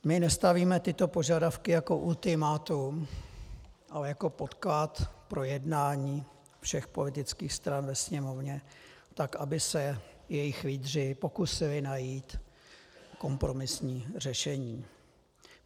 My nestavíme tyto požadavky jako ultimátum, ale jako podklad pro jednání všech politických stran ve Sněmovně, tak aby se jejich lídři pokusili najít kompromisní řešení.